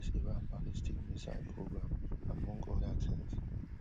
This iran ballistic missile programme among other things